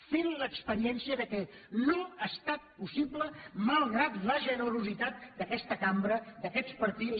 fent l’experiència que no ha estat possible malgrat la generositat d’aquesta cambra d’aquests partits